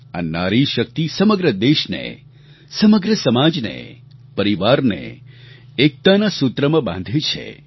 આ નારી શક્તિ સમગ્ર દેશને સમગ્ર સમાજને પરિવારને એકતાના સૂત્રમાં બાંધે છે